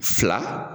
Fila